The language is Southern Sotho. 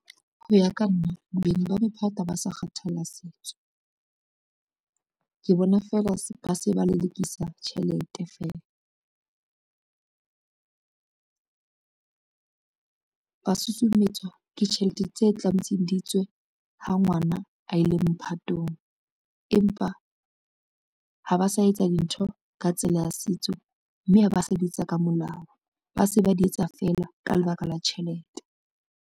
Ho ya ka nna bo beng ba mephatho ha ba sa kgathalla setso, ke bona fela ba se ba lelekisa tjhelete fela. Ba susumetswa ke tjhelete tse tlametseng di tswe ha ngwana a ile mophatong, empa ha ba sa etsa dintho ka tsela ya setso, mme ha ba ss di etsa ka molao, ba se ba di etsa fela ka lebaka la tjhelete.